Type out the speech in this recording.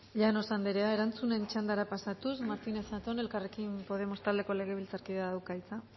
llanos andrea erantzun txanda pasatuz martínez zatón elkarrekin podemos taldeko legebiltzarkideak dauka hitza